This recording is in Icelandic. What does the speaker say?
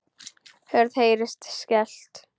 Hurð heyrist skellt.